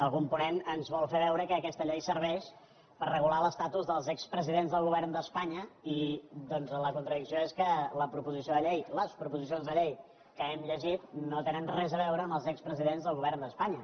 algun ponent ens vol fer veure que aquesta llei serveix per regular l’estatus dels expresidents del govern d’espanya i doncs la contradicció és que les proposicions de llei que hem llegit no tenen res a veure amb els expresidents del govern d’espanya